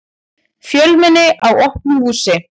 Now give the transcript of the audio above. Fjölmenni á opnu húsi